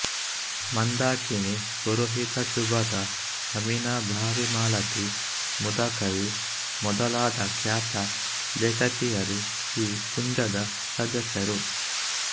ಮಂದಾಕಿನಿ ಪುರೋಹಿತಶುಭದಾ ಅಮಿನಭಾವಿಮಾಲತಿ ಮುದಕವಿ ಮೊದಲಾದ ಖ್ಯಾತ ಲೇಖಕಿಯರು ಈ ಕುಂಜದ ಸದಸ್ಯರು